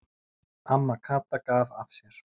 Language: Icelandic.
Amma Kata gaf af sér.